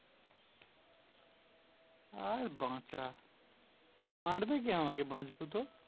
আর বাঁচা মারবে কে আমাকে বাঁচবো তো